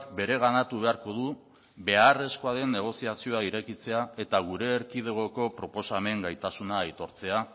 bereganatu beharko du beharrezkoa den negoziazioa irekitzea eta gure erkidegoko proposamen gaitasuna aitortzea